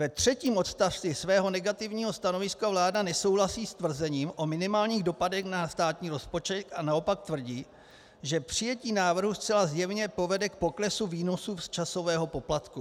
Ve třetím odstavci svého negativního stanoviska vláda nesouhlasí s tvrzením o minimálních dopadech na státní rozpočet a naopak tvrdí, že přijetí návrhu zcela zjevně povede k poklesu výnosu z časového poplatku.